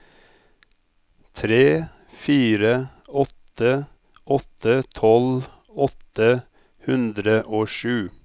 tre fire åtte åtte tolv åtte hundre og sju